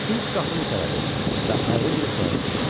İt qapını itələdi və ayrı bir otağa keçdi.